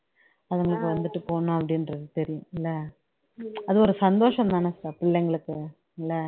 அதுங்களுக்கு வந்துட்டு போகணும் அப்படின்றது தெரியும் இல்ல அது ஒரு சந்தோஷம் தான பிள்ளைங்களுக்கு இல்ல